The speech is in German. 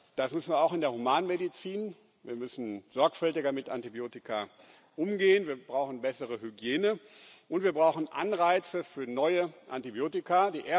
Das müssen wir auch in der Humanmedizin. Wir müssen mit Antibiotika sorgfältiger umgehen, wir brauchen bessere Hygiene, und wir brauchen Anreize für neue Antibiotika.